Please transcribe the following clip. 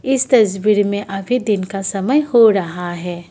इस तस्वीर मे अभी दिन का समय हो रहा है।